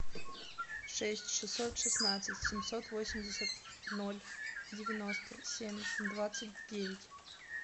шесть шестьсот шестнадцать семьсот восемьдесят ноль девяносто семь двадцать девять